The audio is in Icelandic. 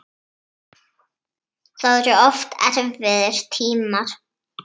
Það voru oft erfiðir tímar.